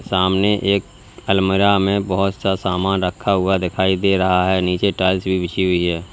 सामने एकबी अलमरा में बहुत सा सामान रखा हुआ दिखाई दे रहा है नीचे टाइल्स भी बिछी हुई है।